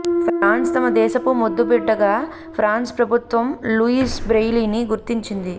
France తమ దేశపు ముద్దుబిడ్డగా ఫ్రాన్స్ ప్రభుత్వం లూయిస్ బ్రెయిలీని గుర్తించింది